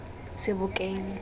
sebokeng